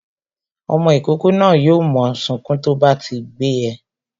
Ọmọ ìkókó náà yo mo sunkún to bá ti gbé e